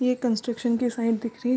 ये कंस्ट्रक्शन की साइट दिख रही है ।